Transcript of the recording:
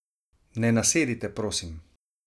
Ne nasedite, prosim.